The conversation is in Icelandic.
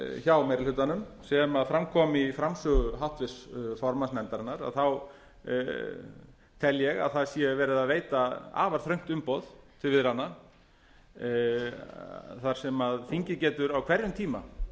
hjá meiri hlutanum sem fram kom í framsögu háttvirts formanns nefndarinnar þá tel ég að það sé verið að veita afar þröngt umboð til viðræðna þar sem þingið getur á hverjum tíma